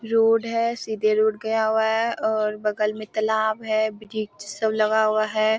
Road है सीधे road गया हुआ है और बगल में तालाब है वृक्ष सब लगा हुआ है।